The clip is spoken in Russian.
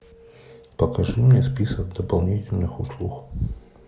покажи мне список дополнительных услуг